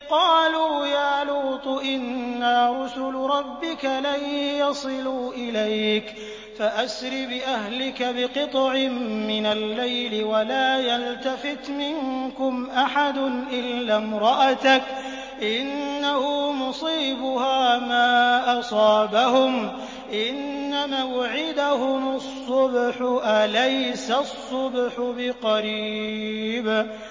قَالُوا يَا لُوطُ إِنَّا رُسُلُ رَبِّكَ لَن يَصِلُوا إِلَيْكَ ۖ فَأَسْرِ بِأَهْلِكَ بِقِطْعٍ مِّنَ اللَّيْلِ وَلَا يَلْتَفِتْ مِنكُمْ أَحَدٌ إِلَّا امْرَأَتَكَ ۖ إِنَّهُ مُصِيبُهَا مَا أَصَابَهُمْ ۚ إِنَّ مَوْعِدَهُمُ الصُّبْحُ ۚ أَلَيْسَ الصُّبْحُ بِقَرِيبٍ